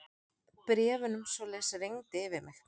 Bréfunum svoleiðis rigndi yfir mig.